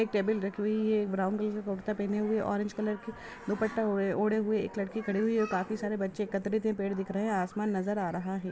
एक टेबल रखी हुई है एक ब्राउन कलर के कुरता पहने हुऐ है ऑरेंज कलर की दुपट्टा ओढे हुऐ एक लड़की खड़ी हुई है काफ़ी सारे बच्चे एकत्रित है पेड़ दिख रहे हैं आसमान नज़र आ रहा है।